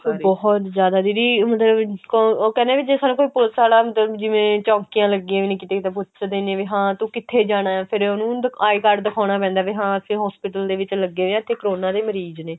ਬਹੁਤ ਜਿਆਦਾ ਦੀਦੀ ਮਤਲਬ ਉਹ ਕਹਿੰਦਾ ਵੀ ਜੇ ਸਾਨੂੰ ਕੋਈ police ਵਾਲਾ ਅੰਦਰ ਜਿਵੇਂ ਚੋਂਕੀਆਂ ਲੱਗੀਆਂ ਹੋਈਆਂ ਪੁੱਛਦੇ ਨੇ ਵੀ ਹਾਂ ਤੂੰ ਕਿੱਥੇ ਜਾਣਾ ਫਿਰ ਉਹਨੂੰ I card ਦਿਖਾਉਂਨਾ ਪੈਂਦਾ ਵੀ ਹਾਂ ਵੀ hospital ਦੇ ਵਿੱਚ ਲੱਗੇ ਹੋਏ ਆ ਜਿੱਥੇ ਕਰੋਨਾ ਦੇ ਮਰੀਜ਼ ਨੇ